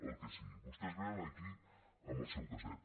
el que sigui vostès vénen aquí amb el seu casset